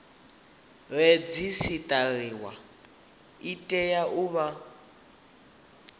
redzisiṱariwa i tea u vha